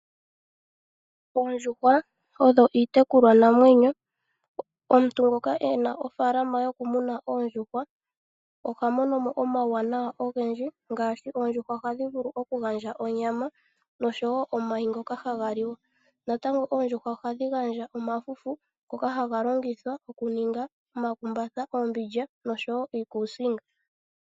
Oondjuhwa odho iitekulwa namwenyo, omuntu ngoka ena ofaalama yokumuna oondjuhwa oha mono mo omuwanawa ogendji ngaashi oondjuhwa ohadhi vulu oku gandja onyama noshowo omayi ngoka haga liwa, natango oondjuhwa ohadhi gandja omafufu ngoka haga kongithwa oku ninga omakumbatha, oombilya noshowo iikusinga.